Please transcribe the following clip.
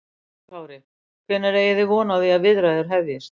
Höskuldur Kári: Hvenær eigi þið von á því að viðræður hefjist?